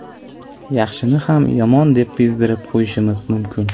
Yaxshini ham yomon deb bezdirib qo‘yishimiz mumkin.